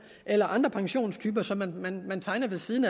eller andre pensionstyper som man man tegner ved af siden